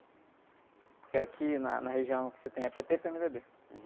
Porque aqui na, na região o que você tem é pê-tê e pê-eme-dê-bê.